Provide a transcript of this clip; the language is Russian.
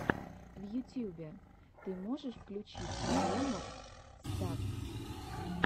в ютьюбе ты можешь включить обломофф стафф